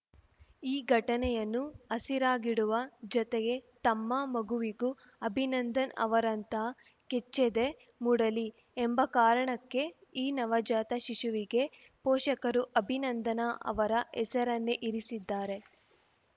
ಈ ಘಟನೆಯನ್ನು ಹಸಿರಾಗಿಡುವ ಜತೆಗೆ ತಮ್ಮ ಮಗುವಿಗೂ ಅಭಿನಂದನ್‌ ಅವರಂತಹ ಕೆಚ್ಚೆದೆ ಮೂಡಲಿ ಎಂಬ ಕಾರಣಕ್ಕೆ ಈ ನವಜಾತ ಶಿಶುವಿಗೆ ಪೋಷಕರು ಅಭಿನಂದನ ಅವರ ಹೆಸರನ್ನೇ ಇರಿಸಿದ್ದಾರೆ